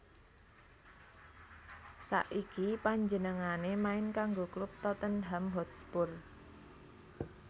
Saiki panjenengané main kanggo klub Tottenham Hotspur